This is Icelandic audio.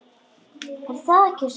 Er það ekki sálin?